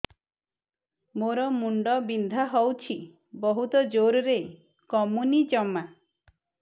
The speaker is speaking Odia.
ମୋର ମୁଣ୍ଡ ବିନ୍ଧା ହଉଛି ବହୁତ ଜୋରରେ କମୁନି ଜମା